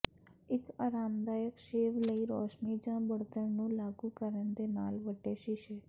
ਇੱਕ ਆਰਾਮਦਾਇਕ ਸ਼ੇਵ ਲਈ ਰੋਸ਼ਨੀ ਜ ਬਣਤਰ ਨੂੰ ਲਾਗੂ ਕਰਨ ਦੇ ਨਾਲ ਵੱਡੇ ਸ਼ੀਸ਼ੇ